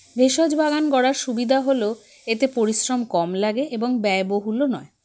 ভেষজ বাগান গড়ার সুবিধা হলো এতে পরিশ্রম কম লাগে এবং ব্যয়বহুলও নয়